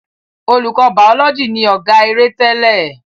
Olùkọ bàólọ́jì ni ọ̀gá-eré tẹ́lẹ̀.